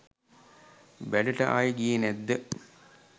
වැඩට ආයෙ ගියේ නැත්ද